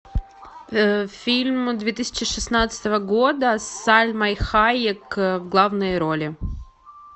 фильм две тысячи шестнадцатого года с сальмой хайек в главной роли